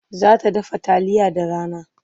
Za ta dafa taliya da rana.